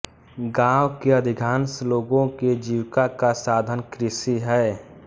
गांव के अधिकांश लोगों के जीविका का साधन कृषि है